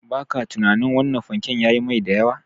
Ba kya tunanin wannan fanke yayi mai da yawa?